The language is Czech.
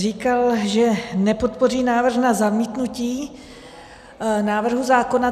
Říkal, že nepodpoří návrh na zamítnutí návrhu zákona.